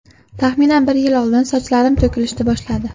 Taxminan bir yil oldin sochlarim to‘kilishdi boshladi.